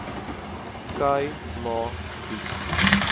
khâi ma gebied